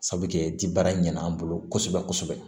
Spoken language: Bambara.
Sabu kɛ ji baara in ɲɛna an bolo kosɛbɛ kosɛbɛ